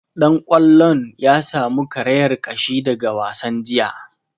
Dan kwallon ya samu karayar ƙashi daga wasan jiya